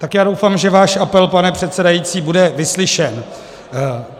Tak já doufám, že váš apel, pane předsedající, bude vyslyšen.